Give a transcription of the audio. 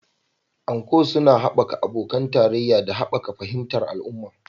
Anko suna haɓaka abokan tarayya da haɓaka fahimtar al'umma